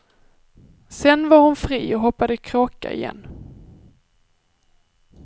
Sedan var hon fri och hoppade kråka igen.